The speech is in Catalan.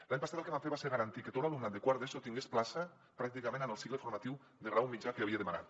l’any passat el que vam fer va ser garantir que tot l’alumnat de quart d’eso tingués plaça pràcticament en el cicle formatiu de grau mitjà que havia demanat